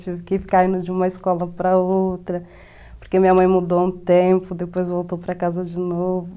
Tive que ficar indo de uma escola para outra, porque minha mãe mudou um tempo, depois voltou para casa de novo.